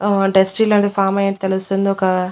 ఆ ఫామ్ ఐనట్టు తెలుస్తుంది ఒక--